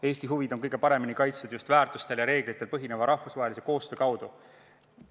Eesti huvid on kõige paremini kaitstud just väärtustel ja reeglitel põhineva rahvusvahelise koostöö kaudu.